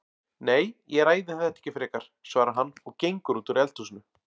Nei, ég ræði þetta ekki frekar, svarar hann og gengur út úr eldhúsinu.